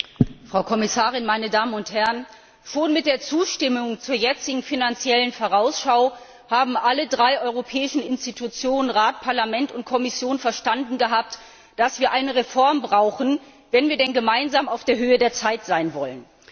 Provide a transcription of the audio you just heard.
Herr Präsident, Frau Kommissarin, meine Damen und Herren! Schon bei der Zustimmung zur jetzigen Finanziellen Vorausschau hatten alle drei europäischen Institutionen Rat, Parlament und Kommission verstanden, dass wir eine Reform brauchen, wenn wir denn gemeinsam auf der Höhe der Zeit sein wollen.